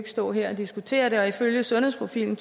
stå her og diskutere det og ifølge sundhedsprofilen